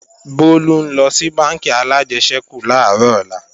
Bólú ńlọ sí bánkì alájẹsẹ́kù làárọ̀ ọ̀la